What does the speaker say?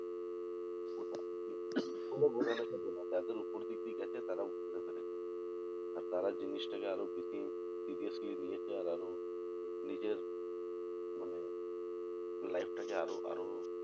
যাদের উপর দিক দিয়ে গেছে তারা বুঝতে পেরেছে আর তারা জিনিস টাকে আরো বেশি seriously নিয়েছে আর আরো নিজের মানে life টাকে আরো আরো